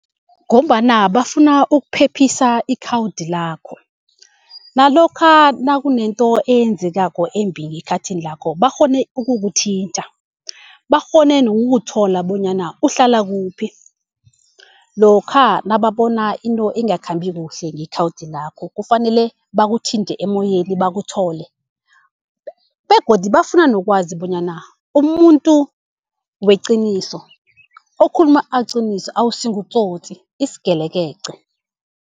Ngombana bafuna ukuphephisa ikhawudi lakho. Nalokha nakunento eyenzekako embi ngekhathini lakho bakghone ukukuthinta. Bakghone nokukuthola bonyana uhlala kuphi lokha nababona into engakhambi kuhle ngekhawudi lakho, kufanele bakuthinte emoyeni bakuthole. Begodu bafuna nokwazi bonyana umumuntu weqiniso, okhuluma iqiniso awusi ngutsotsi isigelekeqe.